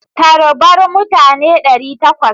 Tarbar mutane ɗari takwas!